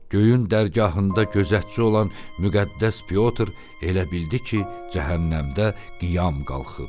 Göyün dərgahında gözətçi olan müqəddəs Pyotr elə bildi ki, cəhənnəmdə qiyam qalxıb.